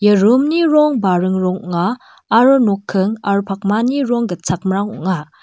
ia rum ni rong baring rong ong·a aro nokking aro pakmani rong gitchakmrang ong·a.